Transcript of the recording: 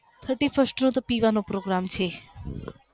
thirty first ના તો પીવા નો program છે